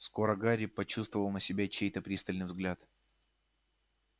скоро гарри почувствовал на себе чей-то пристальный взгляд